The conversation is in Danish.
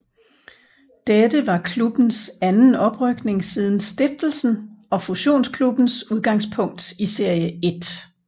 Dette var klubbens anden oprykning siden stiftelsen og fusionsklubbens udgangspunkt i Serie 1